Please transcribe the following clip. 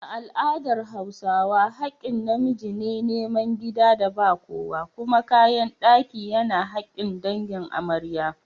A al’adar Hausawa, hakkin na miji ne nemi gidan da ba kowa, kuma kayan daki yana hakkin dangin amarya.